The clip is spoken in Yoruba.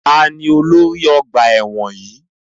Taàní ólori ọgbà ẹ̀wọ̀n yìí?